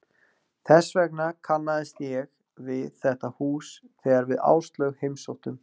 Þess vegna kannaðist ég við þetta hús þegar við Áslaug heimsóttum